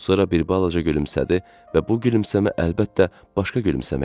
Sonra bir balaca gülümsədi və bu gülümsəmə əlbəttə başqa gülümsəmə idi.